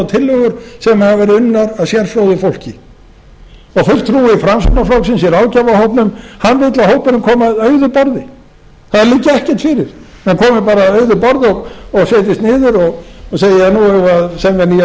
tillögur sem hafa verið undan af sérfróðu fólki fulltrúi framsóknarflokksins í ráðgjafarhópnum vill að hópurinn komi að auðu borði það liggi ekkert fyrir hann komi bara að auðu borði og setjist niður og segi ja nú eigum við að semja nýja